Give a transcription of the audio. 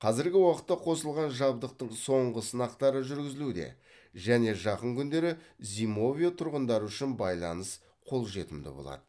қазіргі уақытта қосылған жабдықтың соңғы сынақтары жүргізілуде және жақын күндері зимовье тұрғындары үшін байланыс қол жетімді болады